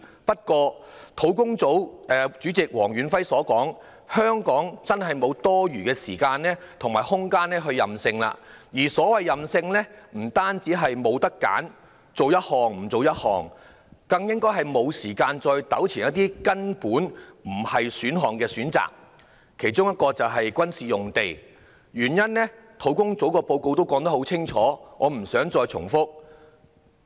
不過，正如土地供應專責小組主席黃遠輝所說，香港已沒有多餘時間和空間去"任性"，而所謂不能"任性"的意思，不單是指我們不能只選擇某一項而不選另一項，更是指我們沒有時間再糾纏於一些根本不能選擇的選項，其中一個是"軍事用地"，原因已清楚說明在土地供應專責小組的報告內，我不想重複。